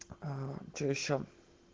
а что ещё